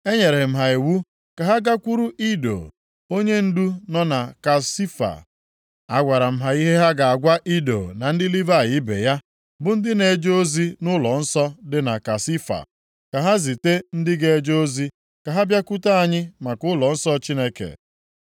Enyere m ha iwu ka ha gakwuru Ido, onyendu nọ na Kasifia. Agwara m ha ihe ha ga-agwa Ido na ndị Livayị ibe ya, bụ ndị na-eje ozi nʼụlọnsọ dị na Kasifia, ka ha zite ndị ga-eje ozi ka ha bịakwute anyị maka ụlọnsọ Chineke.